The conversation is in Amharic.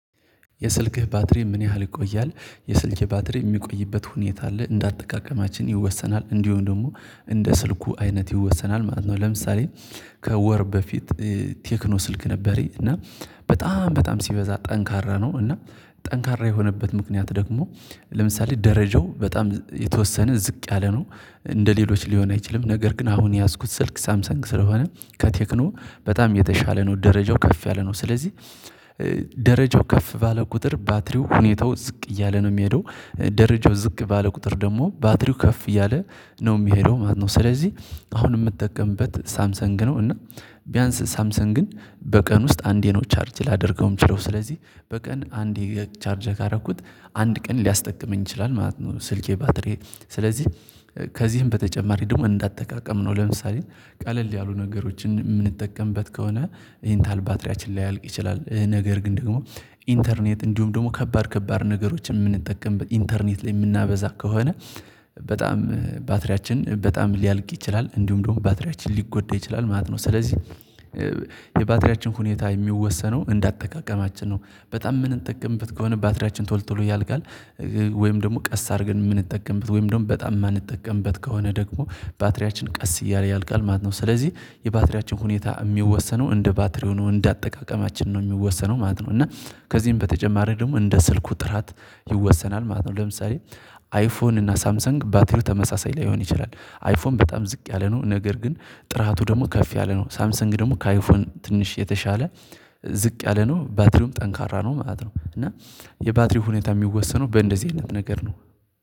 የስልክህ ባትሪ ምን ያህል ይቆያል? የስልኬ ባትሪ የሚቆይበት ሁኔታ አለ እንደ አጠቃቀማችን ይወሰናል እንዲሁ ደግሞ እንደ ስልኩ አይነት ይወሰናል ማለት ነው። ለምሳሌ ከወር በፊት ቴክኖ ስልክ ነበረኝ እና በጣም በጣም ሲበዛ ጠንካራ ነው እና ጠንካራ የሆነበት ምክንያት ደግሞ ለምሳሌ ደረጃው በጣም የተወሰነ ዝቅ ያለ ነው። እንደ ሌሎች ሊሆን አይችልም ነገር ግን አሁን የያዝኩት ስልክ ሳምሰንግ ስለሆነ ከቴክኖ በጣም የተሻለ ነው ደረጃው ከፍ ያለ ነው ስለዚህ። ደረጃው ከፍ ባለ ቁጥር ባትሪው ሁኔታው ዝቅ እያለ ነው የሚሄደው ደረጃው ዝቅ ባለ ቁጥር ደግሞ ባትሪው ከፍ እያለ ነው የሚሄደው ማለት ነው። ስለዚህ አሁን የምትጠቀምበት ሳምሰንግ ነው እና ቢያንስ ሳምሰንግን በቀን ውስጥ አንዴ ነው ቻርጅ ላደርገውም የምችለው ስለዚህ በቀን አንዴ ቻርጅ ካረኩት አንድ ቀን ሊያስጠቅመኝ ይችላል ማለት ነው። ስልኬ ባትሪ ስለዚህ ከዚህም በተጨማሪ ደግሞ እንዳጠቃቀም ነው። ለምሳሌ ቀለል ያሉ ነገሮችን የምንጠቀምበት ከሆነ ይህን ኢንታል ባትሪያችን ላያልቅ ይችላል ነገር ግን ደግሞ ኢንተርኔት እንዲሁም ደግሞ ከባድ ከባድ ነገሮችን የምንጠቀምበት ኢንተርኔት ላይ የምናበዛ ከሆነ በጣም ባትሪያችን በጣም ሊያልቅ ይችላል እንዲሁም ደግሞ ባትሪያችን ሊጎዳ ይችላል ማለት ነው። ስለዚህ የባትሪያችን ሁኔታ የሚወሰነው እንዳጠቃቀማችን ነው በጣም የምንጠቀምበት ከሆነ ባትሪያችን ቶልቶሎ ያልካል ወይም ደግሞ ቀስ አድርገን የምንጠቀምበት ወይም ደግሞ በጣም የማንጠቀምበት ከሆነ ደግሞ ባትሪያችን ቀስ እያለ ያልቃል ማለት ነው። ስለዚህ የባትሪያችን ሁኔታ የሚወሰነው እንደ ባትሪ ነው እንደ አጠቃቀማችን ነው የሚወሰነው ማለት ነው። እና ከዚህም በተጨማሪ ደግሞ እንደ ስልኩ ጥራት ይወሰናል ማለት ነው። ለምሳሌ አይፎን እና ሳምሰንግ ባትሪው ተመሳሳይ ለይሆን ይችላል አይፎን በጣም ዝቅ ያለ ነው ነገር ግን ጥራቱ ደግሞ ከፍ ያለ ነው ሳምሰንግ ደግሞ ከአይፎን ትንሽ የተሻለ ዝቅ ያለ ነው ባትሪውም ጠንካራ ነው ማለት ነው። እና የባትሪ ሁኔታ የሚወሰነው በእንደዚህ አይነት ነገር ነው